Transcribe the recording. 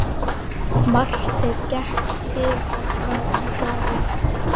Marteinn gekk til og frá um hlaðið.